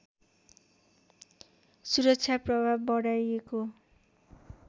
सुरक्षा प्रभाव बढाइएको